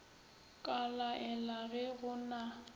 ka laela ge go na